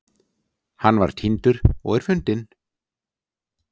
Hann var týndur og er fundinn